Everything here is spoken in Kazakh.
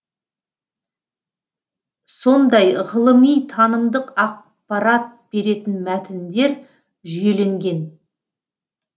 сондай ғылыми танымдық ақпарат беретін мәтіндер жүйеленген